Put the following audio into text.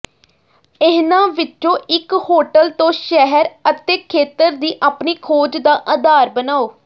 ਇਹਨਾਂ ਵਿੱਚੋਂ ਇੱਕ ਹੋਟਲ ਤੋਂ ਸ਼ਹਿਰ ਅਤੇ ਖੇਤਰ ਦੀ ਆਪਣੀ ਖੋਜ ਦਾ ਆਧਾਰ ਬਣਾਉ